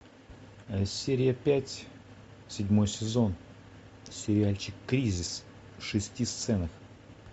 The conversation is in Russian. серия пять седьмой сезон сериальчик кризис в шести сценах